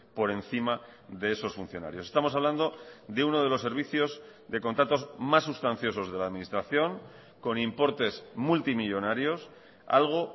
por encima de esos funcionarios estamos hablando de uno de los servicios de contratos más sustanciosos de la administración con importes multimillónarios algo